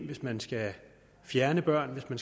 hvis man skal fjerne børn